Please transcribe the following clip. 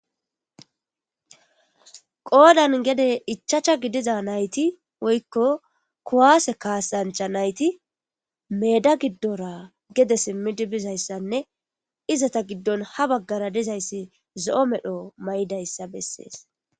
Qodhan gede ichacha gidiza nayiti woyikko kuwase kasancha nayiti meeda gidora gede simidi bizaysanne izata giddon ha bagara dizaysi zoo'o medho maidaysa beeses.